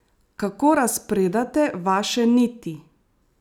Kako razpredate vaše niti?